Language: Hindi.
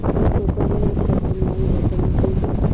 उसने सोचा मैं इस वक्त न्याय और धर्म के